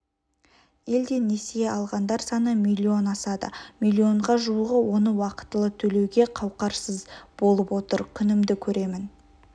елде несие алғандар саны млн асады млн-ға жуығы оны уақытылы төлеуге қауқарсыз болып отыр күнімді көремін